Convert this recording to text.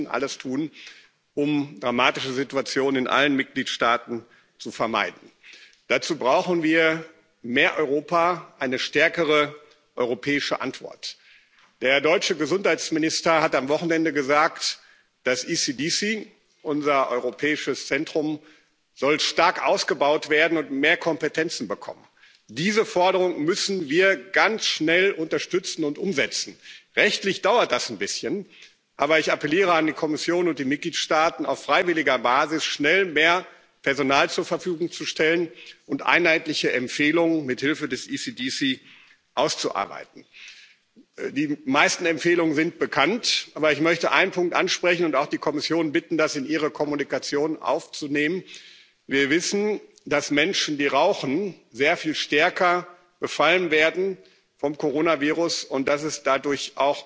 Wir müssen alles tun, um dramatische Situationen in allen Mitgliedstaaten zu vermeiden. Dazu brauchen wir mehr Europa, eine stärkere europäische Antwort. Der deutsche Gesundheitsminister hat am Wochenende gesagt, das ECDC, unser Europäisches Zentrum, soll stark ausgebaut werden und mehr Kompetenzen bekommen. Diese Forderung müssen wir ganz schnell unterstützen und umsetzen. Rechtlich dauert das ein bisschen aber ich appelliere an die Kommission und die Mitgliedstaaten, auf freiwilliger Basis schnell mehr Personal zur Verfügung zu stellen und einheitliche Empfehlungen mit Hilfe des ECDC auszuarbeiten. Die meisten Empfehlungen sind bekannt. Aber ich möchte einen Punkt ansprechen und auch die Kommission bitten, das in ihre Kommunikationen aufzunehmen Wir wissen, dass Menschen, die rauchen, sehr viel stärker vom Coronavirus befallen werden und dass